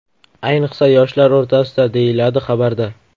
Ayniqsa, yoshlar o‘rtasida, deyiladi xabarda.